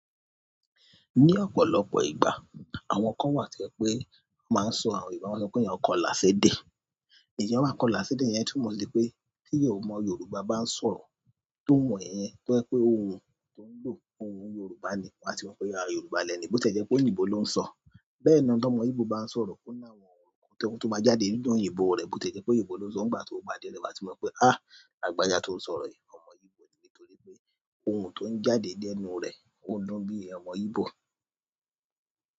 Ní ọ̀pọ̀lọpọ̀ ìgbà, àwọn kan wà to jẹ pé máa ń sọ àwọn ti wọn ba sọ pé iyàn kọlàsẹ́dẹ́. Ìyan wa kọlàsẹ́dẹ́ iyẹn túmọ̀ sí pé tí ọmọ Yorùbá bá ń sọ̀rọ̀ tó ohun yẹn tó jẹ pé ohùn tó ń lò ohùn Yorùbá ni wàá ti mọ̀ pé Yorùbá lẹni, bó ti e jẹ́ pé òyìnbó ló ń sọ. Bẹ́ẹ̀ lọ tó mọ ìbò bá ń sọ̀rọ̀ kó náà wọ̀n, ohùn tó bá jáde nínú òyìnbó rẹ̀ bó ti jẹ́ pé òyìnbó ló ń sọ, ìgbà tí ó bá dé ọ̀dọ̀ ẹ, wàá ti mọ̀ pé, ah lagbaja tó ń sọ̀rọ̀ yìí, ọmọ Íbò ni nítorí pé ohùn tó ń jáde ní ẹnu rẹ̀ ó na bí ọmọ Íbò.